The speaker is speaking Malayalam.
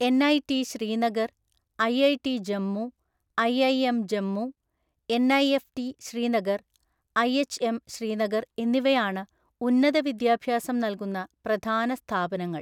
NIT Srinagar, IIT Jammu, IIM Jammu, NIFT Srinagar, IHM Srinagar എന്നിവയാണ് ഉന്നത വിദ്യാഭ്യാസം നൽകുന്ന പ്രധാന സ്ഥാപനങ്ങൾ.